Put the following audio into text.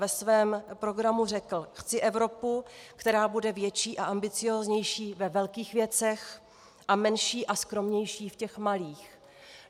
Ve svém programu řekl: "Chci Evropu, která bude větší a ambicióznější ve velkých věcech a menší a skromnější v těch malých."